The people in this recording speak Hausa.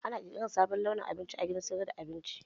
Ana ƙirƙirar sabon launin abinci a gidan sayar da abinci